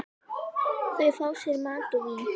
Þau fá sér mat og vín.